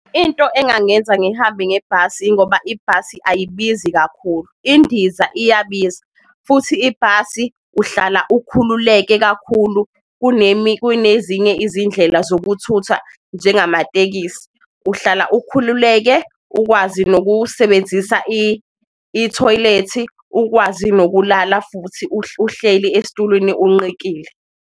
Into engangenza ngihambe ngebhasi ingoba ibhasi ayibizi kakhulu, indiza iyabiza futhi ibhasi uhlala ukhululeke kakhulu kunezinye izindlela, ukuthutha njengamatekisi. Uhlala ukhululeke ukwazi nokusebenzisa ithoyilethi, ukwazi nokulala futhi uhleli esitulweni unqikile.